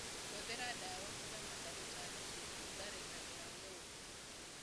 Hũthĩra ndawa kũramata tutambi tũtharĩkagĩra ngombe.